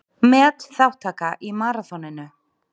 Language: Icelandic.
Metþátttaka í maraþoninu